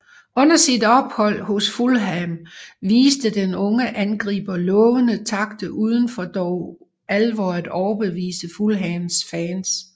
Under sit ophold hos Fulham viste den unge angriber lovende takter uden dog for alvor at overbevise Fulhams fans